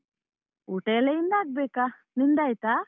ಊಟ ಎಲ್ಲ ಇನ್ ಆಗ್ಬೇಕಾ, ನಿಂದಾಯಿತಾ?